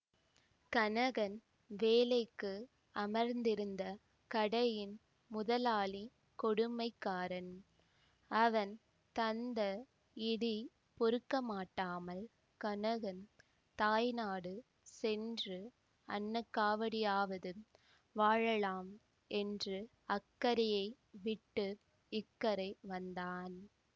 கனகன் வேலைக்கு அமர்ந்திருந்த கடையின் முதலாளி கொடுமைக்காரன் அவன் தந்த இடி பொறுக்கமாட்டாமல் கனகன் தாய்நாடு சென்று அன்னக்காவடியாவது வாழலாம் என்று அக்கரையை விட்டு இக்கரை வந்தான்